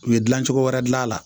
U ye dilancogo wɛrɛ dilan